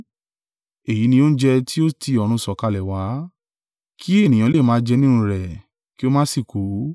Èyí ni oúnjẹ tí ó ti ọ̀run sọ̀kalẹ̀ wá, kí ènìyàn lè máa jẹ nínú rẹ̀ kí ó má sì kú.